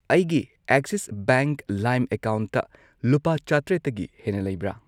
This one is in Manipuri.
ꯑꯩꯒꯤ ꯑꯦꯛꯁꯤꯁ ꯕꯦꯡꯛ ꯂꯥꯏꯝ ꯑꯦꯀꯥꯎꯟꯇ ꯂꯨꯄꯥ ꯆꯇ꯭ꯔꯦꯠꯇꯒꯤ ꯍꯦꯟꯅ ꯂꯩꯕ꯭ꯔꯥ